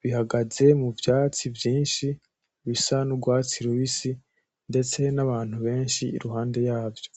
,bihagaze muvyatsi vyinshi bisa n'urwatsi rubisi ndetse n'abantu benshi iruhande yavyo.